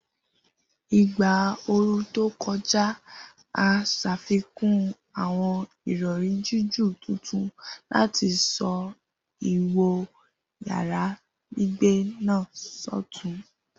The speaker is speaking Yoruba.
Igba ooru to kọja, a ṣafikun awọn irọri jiju tuntun lati sọ iwo yara gbigbe naa sọtun.